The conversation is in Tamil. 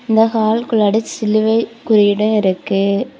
இந்த ஹாலுக்குள்ளாடி சிலுவை குறியீடு இருக்கு.